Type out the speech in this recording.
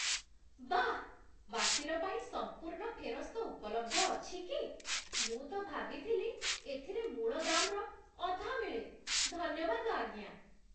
ବାଃ! ବାତିଲ ପାଇଁ ସମ୍ପୂର୍ଣ୍ଣ ଫେରସ୍ତ ଉପଲବ୍ଧ ଅଛି କି, ମୁଁ ତ ଭାବିଥିଲି ଏଥିରେ ମୂଳ ଦାମ୍‌ର ଅଧା ମିଳେ! ଧନ୍ୟବାଦ, ଆଜ୍ଞା।